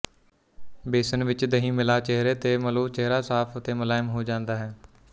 ਬੇਸਣ ਵਿੱਚ ਦਹੀ ਮਿਲਾ ਚੇਹਰੇ ਤੇ ਮਲੋਚੇਹਰਾ ਸਾਫ਼ ਤੇ ਮੁਲਾਇਮ ਹੋ ਜਾਂਦਾ ਹੈ